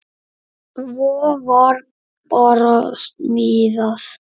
Svo var bara smíðað.